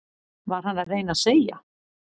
Var hann að reyna að segja